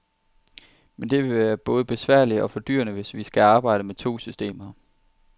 Men det vil både være besværligt og fordyrende, hvis vi skal arbejde med to systemer.